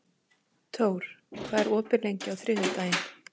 Thor, hvað er opið lengi á þriðjudaginn?